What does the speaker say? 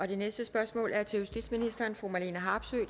det næste spørgsmål er til justitsministeren af fru marlene harpsøe